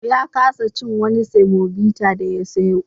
Ya kasa cin wani semobita da ya sayo.